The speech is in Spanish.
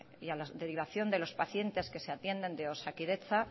y a las derivación de los pacientes que se atienden de osakidetza